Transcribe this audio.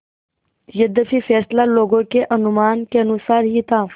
यद्यपि फैसला लोगों के अनुमान के अनुसार ही था